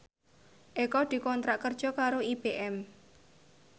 Eko dikontrak kerja karo IBM